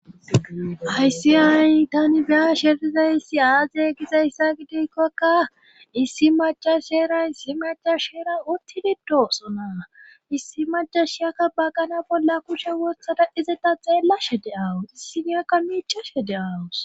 Hayssi ayi tani beya sherizayssi aaze gizayssa gidikkokka issi macas sheera issi macash sheera uttilidoosonaa issi macashiyakka baggana bolla kushe wothada izeta xeellashe de,awus issiniyakka miichashe de,awus.